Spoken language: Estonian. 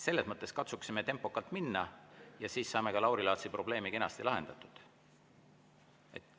Katsume tempokalt minna ja siis saame ka Lauri Laatsi probleemi kenasti lahendatud.